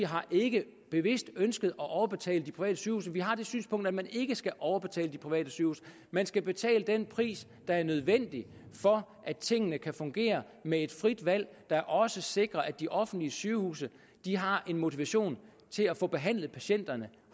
har ikke bevidst ønsket at overbetale de private sygehuse vi har det synspunkt at man ikke skal overbetale de private sygehuse man skal betale den pris der er nødvendig for at tingene kan fungere med et frit valg der også sikrer at de offentlige sygehuse har en motivation til at få behandlet patienterne